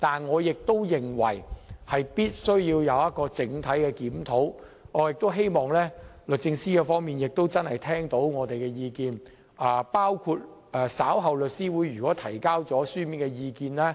可是，我認為政府必須進行全面檢討，亦期望律政司真的會聆聽我們的意見，包括律師會將於稍後向其提交的書面意見。